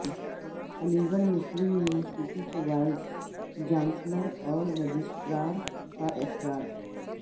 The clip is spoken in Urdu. علیگڑھ مسلم یونیورسٹی کے وائس چانسلر اور رجسٹرار کا اخراج